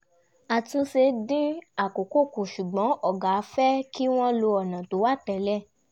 àtúnṣe dín àkókò kù ṣùgbọ́n ọ̀gá fẹ́ kí wọ́n lo ọ̀nà tó wà tẹ́lẹ̀